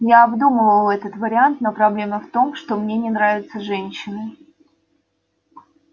я обдумывал этот вариант но проблема в том что мне не нравятся женщины